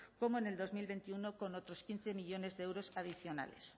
como en dos mil veintiuno con otros quince millónes de euros adicionales